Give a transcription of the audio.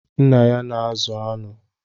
Nna ya na-azụ anụ.